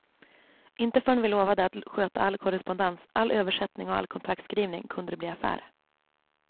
Inte förrän vi lovade att sköta all korrespondens, all översättning och all kontraktskrivning, kunde det bli affär.